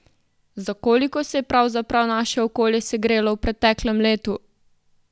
Za koliko se je pravzaprav naše okolje segrelo v preteklem letu?